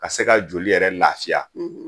Ka se ka joli yɛrɛ lafiya